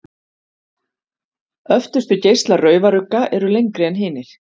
Öftustu geislar raufarugga eru lengri en hinir.